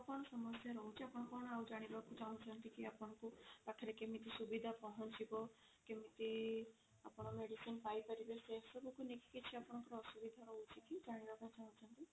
ଆପଣଙ୍କର ଆଉ କଣ ସମସ୍ୟା ରହୁଛି କଣ ଆଉ ଜାଣିବାକୁ ଚାହୁଁଛନ୍ତି ଟିକେ ଆପଣଙ୍କ ପାଖରେ କେମିତି ସୁବିଧା ପହଞ୍ଚିବ କେମିତି ଆପଣ medicine ପାଇ ପାରିବେ ସେ ସବୁ କୁ ନେଇ ଆପଣଙ୍କୁ କିଛି ଅସୁବିଧା ରହୁଛି କି ଜାଣିବାକୁ ଚାହୁଁଛନ୍ତି